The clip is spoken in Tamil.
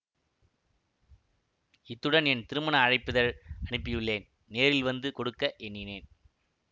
இத்துடன் என் திருமண அழைப்பிதழ் அனுப்பியுள்ளேன் நேரில் வந்து கொடுக்க எண்ணினேன்